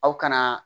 Aw kana